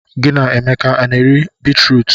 Gị na Emeka a na-eri bitrut?